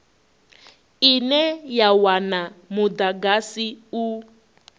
ine ya wana mudagasi u